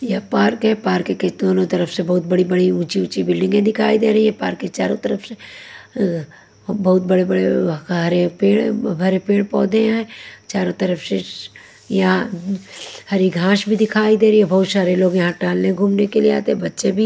यह पार्क है पार्क के दोनों तरफ से बहुत बड़ी-बड़ी ऊंची-ऊंची बिल्डिंगें दिखाई दे रही है पार्क के चारों तरफ से अ बहुत बड़े-बड़े हरे पेड़ भरे पेड़ पौधे हैं चारों तरफ से यहाँं श हरी घाश भी दिखाई दे रही है बहुत शारे लोग यहाँ टहललने-घूमने के लिए आते हैं बच्चे भी--